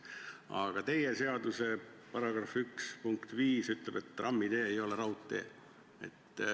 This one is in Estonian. Aga teie seaduse § 1 punkt 5 ütleb, et trammitee ei ole raudtee.